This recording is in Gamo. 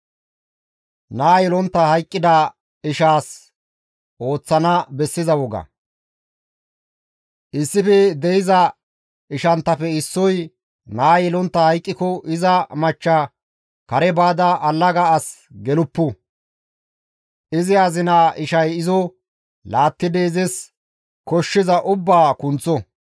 Issife de7iza ishanttafe issoy naa yelontta hayqqiko iza machcha kare baada allaga as geluppu; izi azinaa ishay izo laattidi izis koshshiza ubbaa kunththo.